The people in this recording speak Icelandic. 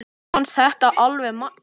Mér fannst þetta alveg magnað.